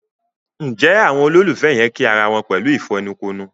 Njé Àwọn ololufẹ yén kí àrà wón pẹ̀lú ìfẹnukonu?